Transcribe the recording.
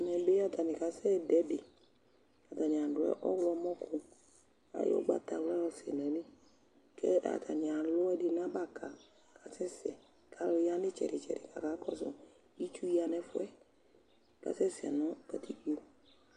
Ɛmɛ bɩ atanɩ kasɛdʋ ɛdɩ Atanɩ adʋ ɔɣlɔmɔkʋ Ayɔ ʋgbatawla yɔsɛ nʋ ayili kʋ atanɩ alʋ ɛkʋɛdɩ nʋ abaka kʋ asɛsɛ kʋ alʋ ya nʋ ɩtsɛdɩ-tsɛdɩ kʋ akakɔsʋ Itsu ya nʋ ɛfʋ yɛ kasɛsɛ nʋ katikpo